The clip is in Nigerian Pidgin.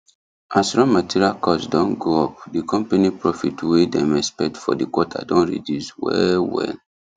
as raw material cost don go up the company profit wey dem expect for the quarter don reduce well well